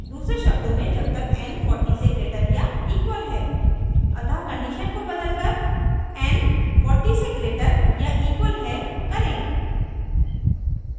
दूसरे शब्दों में जब तक n 40 से greater या equal है अतः condition को बदलकर n 40 से greater या equal है करें